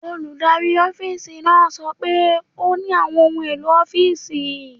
Olùdarí ọ́fíìsì náà sọ pé ó ní àwọn ohun èlò ọ́fíìsì.